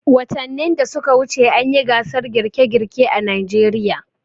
Watanin da suka wuce an yi gasar girke-girke a Najeriya.